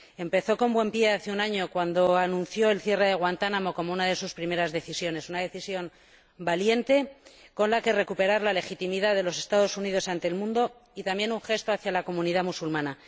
Empezó con buen pie hace un año cuando anunció el cierre de Guantánamo como una de sus primeras decisiones, una decisión valiente con la que recuperar la legitimidad de los Estados Unidos ante el mundo y también un gesto hacia la comunidad musulmana.